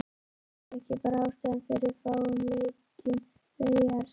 En er þetta ekki bara ástæðan fyrir fáum leikjum Veigars?